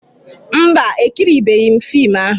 Mba, ekiribeghị m fiim ahụ.